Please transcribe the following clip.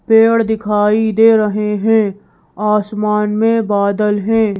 पेड़ दिखाई दे रहे हैं आसमान में बादल हैं ।